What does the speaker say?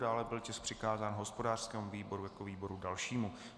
Dále byl tisk přikázán hospodářskému výboru jako výboru dalšímu.